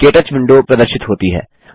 के touch window प्रदर्शित होती है